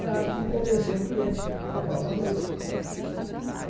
É a arte de convencer o cliente a comprar alguma coisa.